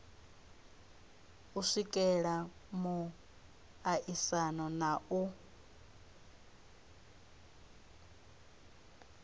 u swikelela muaisano na u